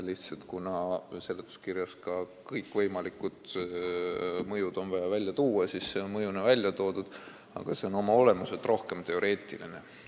Lihtsalt, kuna seletuskirjas on vaja ka kõikvõimalikud mõjud välja tuua, siis see on mõjuna välja toodud, aga see on oma olemuselt rohkem teoreetiline mõju.